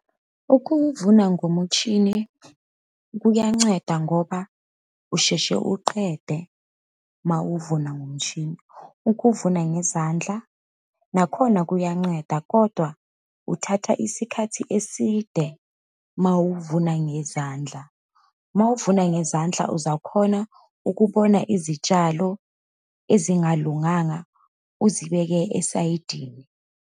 Ukuvuna ngomutshini kuyanceda ngoba usheshe uqede uma uvuma ngomshini. Ukuvuna ngezandla nakhona kuyanceda, kodwa uthatha isikhathi eside uma uvuma ngezandla. Uma uvuna ngezandla uzakhona ukubona izitshalo ezingalunganga, uzibeke esayidini.